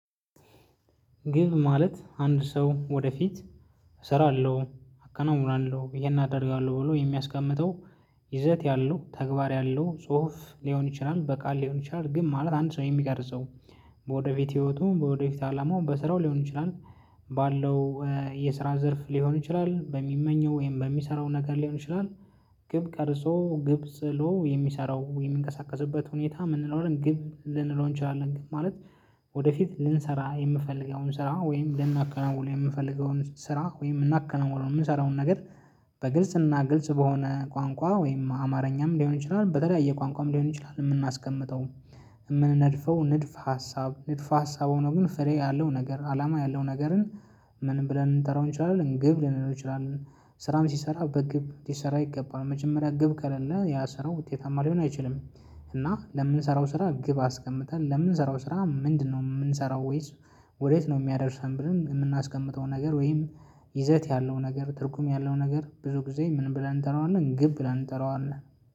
ግብ ማለት አንድ ሰው ወደፊት እሰራለሁ አከናውናለሁ ይሄን አደርጋለሁ ብሎ የሚያስቀምጠው ይዘት ያለው ተግባር ያለው ጽሁፍ ሊሆን ይችላል። በቃል ሊሆን ይችላል። ግን ማለት አንድ ሰው የሚቀርጸው በወደፊት ህይወቱም በወደፊት አላማውም በስራው ሊሆን ይችላል። ባለው የስራ ዘርፍ ሊሆን ይችላል በሚመኘው ወይም በሚሰራው ነገር ሊሆን ይችላል። ግብ ቀርፆ ግብ ጥሎ የሚሰራው የሚንቀሳቀስበት ሁኔታ ምን እንለዋለን ግብ ልንለው እንችላለን ማለት። ወደፊት ልንሰራ የምፈልገውን ስራ ወይም ለምናከናውን የምፈልገውን ስራ ወይም ምናከናውን የምንሰራውን ነገር። በግልጽና ግልጽ በሆነ ቋንቋ ወይም አማርኛም ሊሆን ይችላል በተለያየ ቋንቋም ሊሆን ይችላል የምናስቀምጠው። የምንነድፈው ንድፍ ሀሳብ ንድፍ ሀሳብ ሆኖ ግን ፍሬ ያለው ነገር አላማ ያለው ነገርን። ምን ብለን ልንጠራው እንችላለን ግብ ልንለው እንችላለን። ስራም ሲሰራ በግብ ሲሰራ ይገባል መጀመሪያ ግብ ከሌለ ያ ስራው ውጤታማ ሊሆን አይችልም። እና ለምንሰራው ስራ ግብ አስቀምጠን ለምንሰራው ስራ ምንድነው? የምንሰራው ወይስ ወዴት ነው የሚያደርሰን ብለን የምናስቀምጠው ነገር። ወይም ይዘት ያለው ነገር ትርጉም ያለው ነገር ብዙ ጊዜ ምን ብለን እንጠራዋለን ግብ ብለን እንጠራዋለን